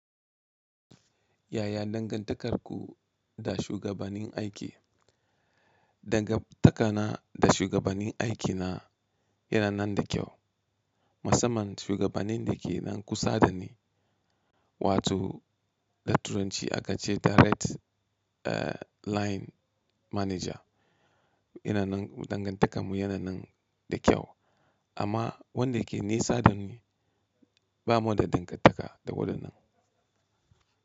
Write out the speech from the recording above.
Yaya dangantakarku da shugabanin aiki? Dangantakana da shugabanin aikina yana nan da kyau. Musamman shugabanin da ke nan kusa da ni, watoh ɗa turanci aka ce Direct ah Line Manager, yana nan dangantakar mu yana nan da kyau. Amma wanda ke nesa da ni ba mu da dangantaka da waɗannan.